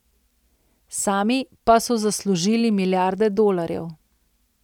Sami pa so zaslužili milijarde dolarjev.